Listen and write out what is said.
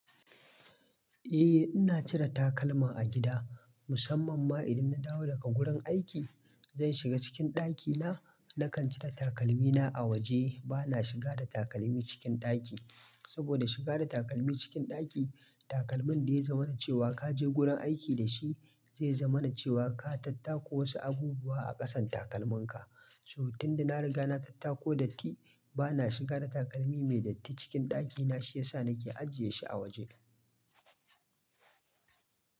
Eh, ina cire takalma a gida musamman ma idan na dawo daga gurin aiki. Zan shiga cikin ɗakina, nakan cire takalmina a waje. Ba na shiga da takalmi cikin ɗaki, saboda shiga da takalmi cikin ɗaki, takalmin da yazamana cewa ka je gurin aiki da shi zai zamana cewa ka tattako wasu abubuwa a ƙasan takalminka. So tunda na riga na tattako datti, bana shiga da takalmi mai datti cikin ɗakina, shi yasa nake ajiye shi a waje.